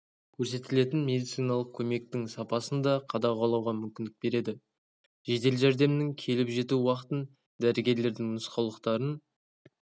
көрсетілетін медициналық көмектің сапасын да қадағалауға мүмкіндік береді жедел жәрдемнің келіп жету уақытын дәрігерлердің нұсқаулықтарын